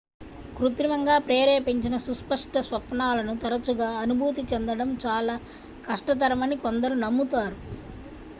కృత్రిమంగా ప్రేరేపించిన సుస్పష్ట స్వప్నాలను తరచుగా అనుభూతి చెందడం చాలా కష్టతరమని కొందరు నమ్ముతారు